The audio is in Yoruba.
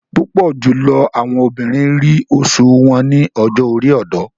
Púpọ jùlọ àwọn obìnrin ríi oṣu wọn ni ọjọ-ori ọdọ